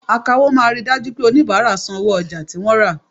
Àkáwọ máa ríi dájú pé oníbárà san owó ojà tí wọ́n rà.